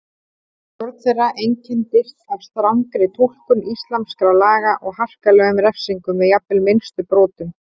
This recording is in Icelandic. Stjórn þeirra einkenndist af strangri túlkun íslamskra laga og harkalegum refsingum við jafnvel minnstu brotum.